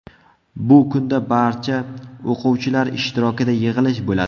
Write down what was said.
Bu kunda barcha o‘quvchilar ishtirokida yig‘ilish bo‘ladi.